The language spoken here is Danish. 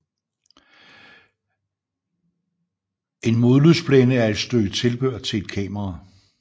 En modlysblændes er et stykke tilbehør til et kamera